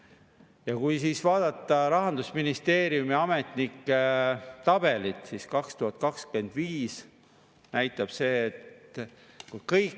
Ehk võtame vaestelt, väiksema sissetulekuga, lastega peredelt ning pensionäridelt raha ära ja jagame seda siis Riigikogu liikme palga saavatele inimestele, kes on vähemuses ja kes ei vaja seda väikest sissetulekulisa ehk 700 eurot tulumaksuvabastust.